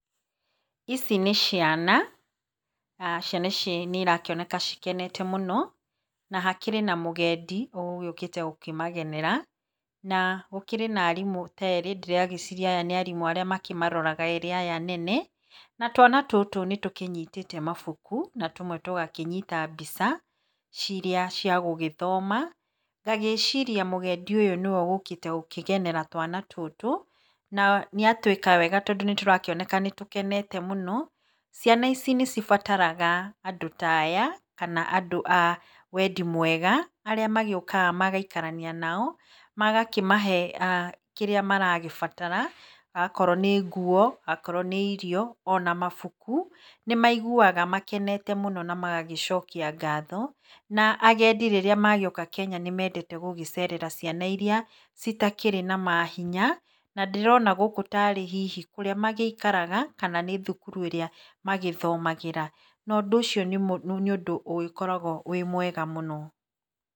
Ici nĩ ciana, ciana ici nĩirakĩoneka cikenete mũno na hakĩrĩ na mũgendi ũgũgĩũkĩte kũmagenera na gũkĩrĩ na arimũ ta erĩ ndĩragĩciria aya nĩarĩa makĩmaroraga aya nene. Na twana tũtũ nĩ tũnyitĩte mabuku na tũmwe tũgakĩnyita mbica ciria cia gũgĩthoma ngagĩciria mũgendi ũyũ nĩwe ũgũgĩũkĩte gũkĩgenera twana tũtũ na nĩatwĩka wega tondũ, tũrakĩoneka nĩtũkenete mũno. Ciana ici nĩ cibataraga andũ ta aya kana andũ awendi mwega arĩa magĩũkaga magaikaraania nao magakĩmahe kĩrĩa maragĩbatara akorwo nĩ nguo ,akorwo nĩ irio, mabuku. Nĩmaigua makenete mũno namagagĩcokia ngatho na agendi rĩrĩa magĩũka Kenya nĩ mendete gũgĩcerera ciana irĩa citakĩrĩ na mahinya na ndĩrona gũkũ tarĩ hihi kũrĩa magĩikaraga kana nĩ thukuru ĩrĩa magĩthomagĩra na ũndũ ũcio nĩ ũndũ ũgĩkoragwo wĩ mwega mũno.